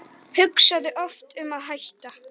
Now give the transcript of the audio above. Hugsaði oft um að hætta.